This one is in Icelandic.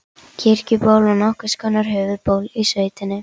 Kirkjuból var nokkurs konar höfuðból í sveitinni.